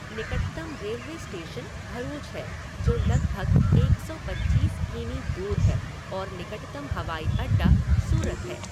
निकटतम railway station Bharuch है जो लगभग एल सौ पचीस किमी दूर है और निकटतम हवाई अड्डा सूरत है।